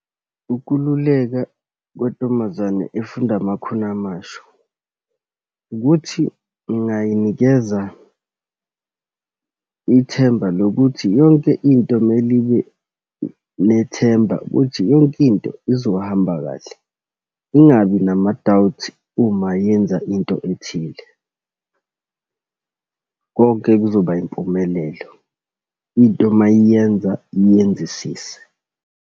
Ukululeka kontombazane efunda amakhono amasha, ukuthi ngingayinikeza ithemba lokuthi yonke into mele ibe nethemba, ukuthi yonke into khona izohamba kahle. Ingabi nama-doubts uma yenza into ethile. Konke kuzoba yimpumelelo, into uma eyenza ayenzisise.